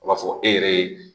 A b'a fɔ e yɛrɛ ye